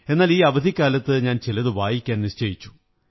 എന്നാൽ ഈ അവധിക്കാലത്ത് ഞാൻ ചിലതു വായിക്കാൻ നിശ്ചയിച്ചു